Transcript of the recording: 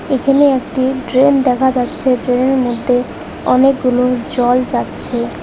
এখানে একটি ড্রেন দেখা যাচ্ছে ড্রেনের মধ্যে অনেকগুলো জল যাচ্ছে।